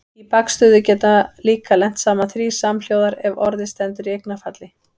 Í bakstöðu geta líka lent saman þrír samhljóðar ef orðið stendur í eignarfalli.